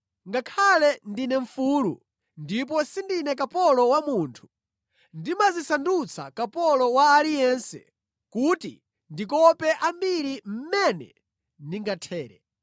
Ngakhale ndine mfulu ndipo sindine kapolo wa munthu, ndimadzisandutsa kapolo wa aliyense kuti ndikope ambiri mmene ndingathere.